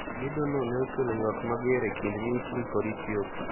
Gedo no ne okelo ywak mager e kind Misri kod Ethiopia.